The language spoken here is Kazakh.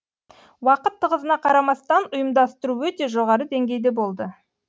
уақыт тығыздығына қарамастан ұйымдастыру өте жоғары деңгейде болды